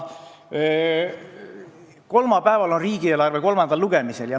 Kolmapäeval on riigieelarve kolmandal lugemisel.